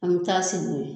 An bɛ taa sigi o ye